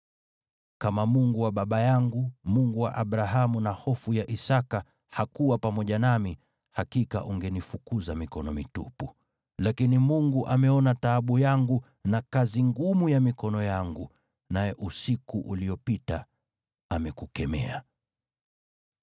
Kama Mungu wa baba yangu, Mungu wa Abrahamu na Hofu ya Isaki, hakuwa pamoja nami, hakika ungenifukuza mikono mitupu. Lakini Mungu ameona taabu yangu na kazi ngumu ya mikono yangu, naye usiku uliopita amekukemea.”